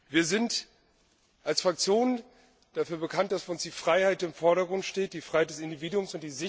Wir sind als Fraktion dafür bekannt, dass für uns die Freiheit im Vordergrund steht, die Freiheit des Individuums.